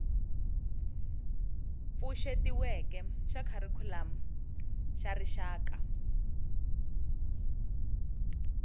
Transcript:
pfuxetiweke xa kharikhulamu xa rixaka